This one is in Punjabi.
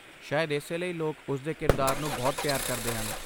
ਸ਼ਾਇਦ ਇਸੇ ਲਈ ਲੋਕ ਉਸ ਦੇ ਕਿਰਦਾਰ ਨੂੰ ਬਹੁਤ ਪਿਆਰ ਕਰਦੇ ਹਨ।